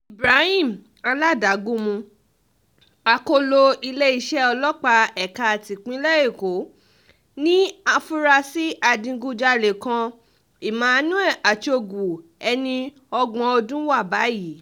ibrahim aládagunmu akọ́lọ iléeṣẹ́ ọlọ́pàá ẹ̀ka tipinlẹ̀ èkó ní àfúrásì adigunjalè kan emmanuel achogwu ẹni ọgbọ̀n ọdún wa báyìí